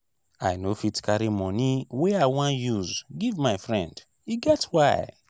i no fit carry moni wey i wan use give my friend e get why.